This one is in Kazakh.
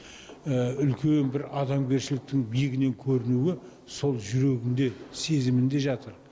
үлкен бір адамгершіліктің биігінен көрінуі сол жүрегінде сезімінде жатыр